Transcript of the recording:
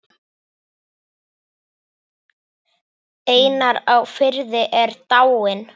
Einar á Firði er dáinn.